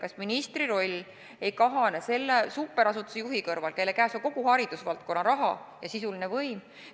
Kas ministri roll ei kahane selle superasutuse juhi kõrval, kelle käes on kogu haridusvaldkonna raha ja sisuline võim?